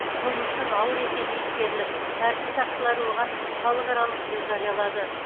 қылмыстың ауыр екені ескеріліп тәртіп сақшылары оған халықаралық іздеу жариялады